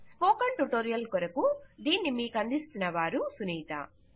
spoken tutorial కొరకు దీనిని మీకందిస్తున్నవారు సునీత